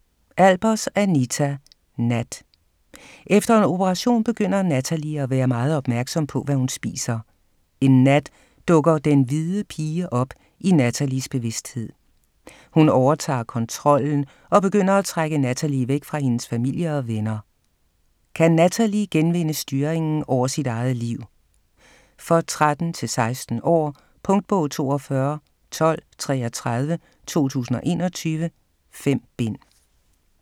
Albers, Anita: Nat Efter en operation begynder Nathalie at være meget opmærksom på, hvad hun spiser. En nat dukker "den hvide pige" op i Nathalies bevidsthed. Hun overtager kontrollen, og begynder at trække Nathalie væk fra hendes familie og venner. Kan Nathalie genvinde styringen over sit eget liv? For 13-16 år. Punktbog 421233 2021. 5 bind.